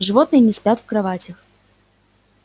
животные не спят в кроватях